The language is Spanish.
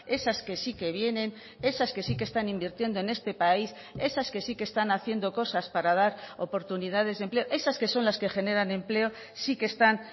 esas que sí que vienen esas que sí que están invirtiendo en este país esas que sí que están haciendo cosas para dar oportunidades de empleo esas que son las que generan empleo sí que están